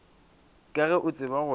ka ge o tseba gore